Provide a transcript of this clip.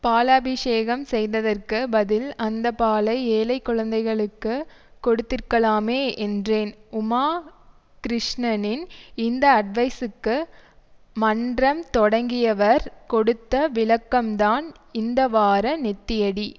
பாலாபிஷேகம் செய்ததற்கு பதில் அந்த பாலை ஏழை குழந்தைகளுக்கு கொடுத்திருக்கலாமே என்றேன் உமா கிருஷ்ணனின் இந்த அட்வைஸுக்கு மன்றம் தொடங்கியவர் கொடுத்த விளக்கம்தான் இந்தவார நெத்தியடி